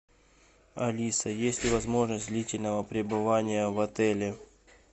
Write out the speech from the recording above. алиса есть ли возможность длительного пребывания в отеле